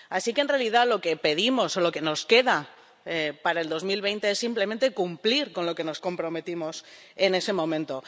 Así que, en realidad, lo que pedimos, o lo que nos queda para el 2020, es simplemente cumplir con lo que nos comprometimos en ese momento.